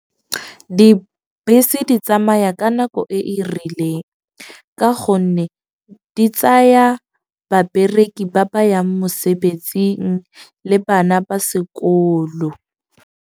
Dibese di tsamaya ka nako e e rileng. Ka gonne di tsaya babereki ba ba yang mosebetsing le bana ba sekolo.